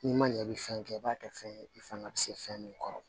N'i ma ɲɛ i bɛ fɛn kɛ i b'a kɛ fɛn ye i fanga bɛ se fɛn min kɔrɔ